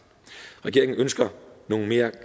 regeringen ønsker nogle mere